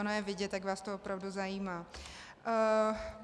Ono je vidět, jak vás to opravdu zajímá.